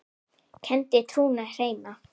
kenndi trúna hreina.